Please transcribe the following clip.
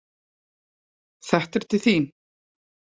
Þetta er til þín